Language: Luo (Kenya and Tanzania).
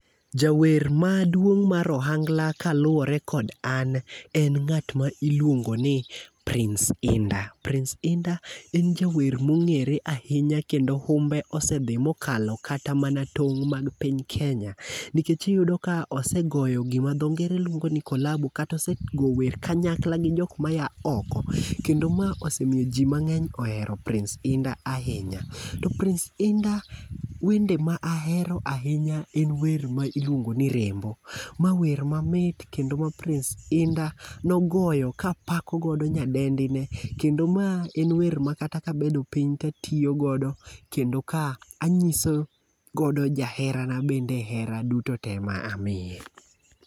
Jawer maduong' mar ohangla kaluwore kod an en ng'at ma iluongo ni Prince Hinda. Prince Hinda en jawer ma ong'ere ahinya kendo humbe osedhi mokalo kata mana tong' mag piny Kenya nikech iyudo ka osegoyo gima dho ngere luongo ni kolabo kata osego wer gi kanyakla gi joma a oko. Kendo ma osemiyo ji ohero Prince Hinda ahinya. To Prince Hinda wende ma ahero ahinya en wer ma iluongo ni Rembo mawer ma mit kendo ma Prince Hinda nogoyo kapako godo nyadendi ne kendo ma en wer makata kabedo piny katiyo godo kendo ka anyiso godo jaherana bende hera duto tee ma amiye.